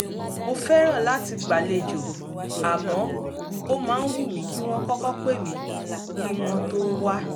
mo fẹ́ràn láti gbàlejò àmọ́ ó máa ń wù mí kí wọ́n kọ́kọ́ pè mí kí wọ́n tó wá